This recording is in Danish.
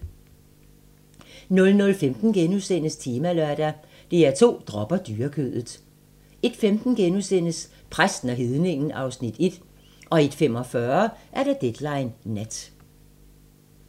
00:15: Temalørdag: DR2 dropper dyrekødet * 01:15: Præsten og Hedningen (Afs. 1)* 01:45: Deadline Nat